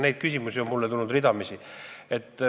Neid küsimusi on mulle tulnud ridamisi.